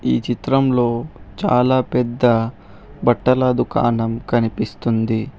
ఈ చిత్రంలో చాలా పెద్ద బట్టల దుకాణం కనిపిస్తుంది.